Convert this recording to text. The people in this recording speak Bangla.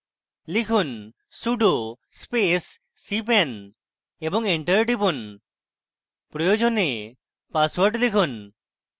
লিখুন sudo space cpan এবং enter টিপুন প্রয়োজনে পাসওয়ার্ড লিখুন